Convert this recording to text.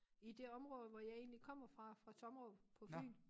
I det område hvor jeg egentlig kommer fra fra Tommerup på Fyn